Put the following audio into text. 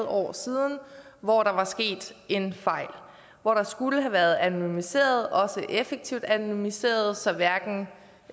år siden hvor der var sket en fejl hvor der skulle have været anonymiseret også effektivt anonymiseret så hverken